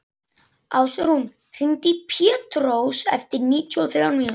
Ásrún, hringdu í Pétrós eftir níutíu og þrjár mínútur.